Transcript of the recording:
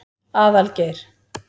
Aðalgeir